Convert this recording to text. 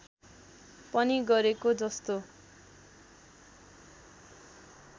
पनि गरेको जस्तो